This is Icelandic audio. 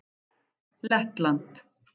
Lettland